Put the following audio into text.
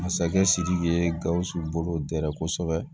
Masakɛ sidiki ye gawusu bolo dɛrɛ kosɛbɛ